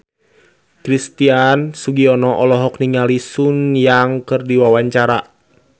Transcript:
Christian Sugiono olohok ningali Sun Yang keur diwawancara